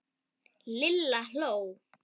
Lilla hló.